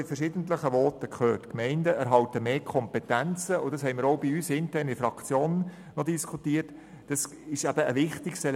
Die Gemeinden erhalten mehr Kompetenzen, das haben wir auch fraktionsintern diskutiert.